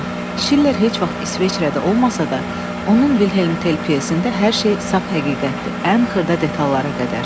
Şiller heç vaxt İsveçrədə olmasa da, onun Vilhelm Tel pyesində hər şey saf həqiqətdir, ən xırda detallara qədər.